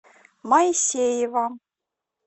моисеева